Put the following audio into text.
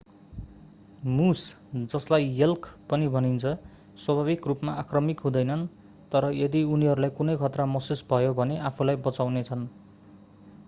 मुस जसलाई एल्क पनि भनिन्छ स्वाभाविक रूपमा आक्रामक हुँदैनन् तर यदि उनीहरूलाई कुनै खतरा महसुस भयो भने आफूलाई बचाउनेछन्।